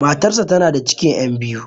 Matar sa tana da cikin 'yan biyu.